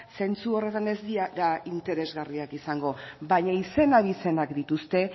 zentzu horretan ez dira interesgarriak izango baina izen abizenak dituzte